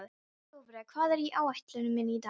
Dofri, hvað er á áætluninni minni í dag?